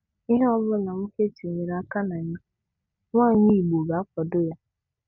Ihe ọbụla nwoke tinyere aka na ya, nwaanyị Igbo ga-akwado ya.